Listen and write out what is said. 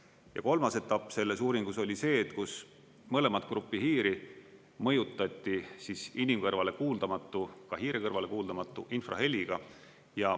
Ja kolmas etapp selles uuringus oli see, kus mõlemat gruppi hiiri mõjutati siis inimkõrvale kuuldamatu, ka hiire kõrvale kuuldamatu infraheliga.